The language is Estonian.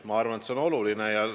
Ma arvan, et see on oluline.